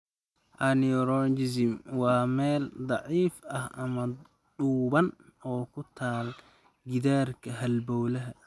Aneurysm waa meel daciif ah ama dhuuban oo ku taal gidaarka halbowlaha.